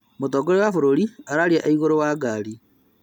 Mũtongoria wa bũrũri ararĩa raia e igũrũ wa ngari